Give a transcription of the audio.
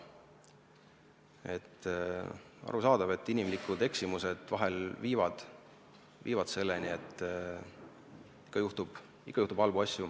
Aga on arusaadav, et inimlikud eksimused vahel viivad selleni, et halbu asju ikka juhtub.